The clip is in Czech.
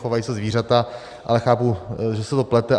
Chovají se zvířata, ale chápu, že se to plete.